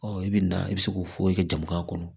i bɛ na i bɛ se k'o foyi kɛ jamana kɔnɔ